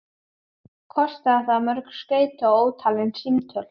Kostaði það mörg skeyti og ótalin símtöl.